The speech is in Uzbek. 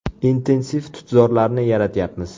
Intensiv tutzorlarni yaratyapmiz.